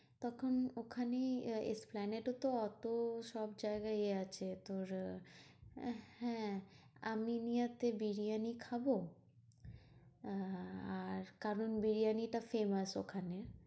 তখন ওখানেই এস্প্লানেটে তো ওতো সব জায়গায় এ আছে তোর আহ উহ হ্যাঁ আমিনিয়া তে বিরিয়ানি খাবো। আর কারণ বিরিয়ানি টা famous ওখানে।